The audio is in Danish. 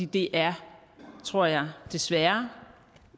det er tror jeg desværre